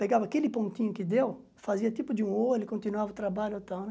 Pegava aquele pontinho que deu, fazia tipo de um olho, continuava o trabalho e tal, né?